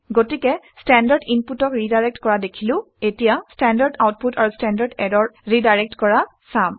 গতিকে ষ্টেণ্ডাৰ্ড ইনপুটক ৰিডাইৰেক্ট কৰা দেখিলো এতিয়া ষ্টেণ্ডাৰ্ড আউটপুট আৰু ষ্টেণ্ডাৰ্ড ইৰৰ ৰিডাইৰেক্ট কৰা চাম